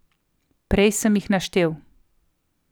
Prej sem jih naštel.